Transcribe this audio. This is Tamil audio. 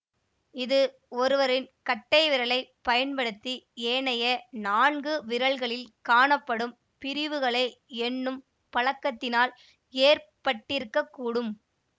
இது ஒருவரின் கட்டை விரலைப் பயன்படுத்தி ஏனைய நான்கு விரல்களில் காணப்படும் பிரிவுகளை எண்ணும் பழக்கத்தினால் ஏற்பட்டிருக்கக்கூடும்